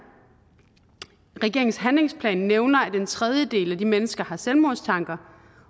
regeringens handlingsplan nævner at en tredjedel af de mennesker har selvmordstanker